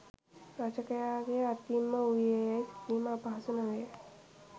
රචකයාගේ අතින් ම වූයේ යැයි සිතීම අපහසු නොවේ